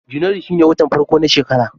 Janairu shine watan farko na shekara.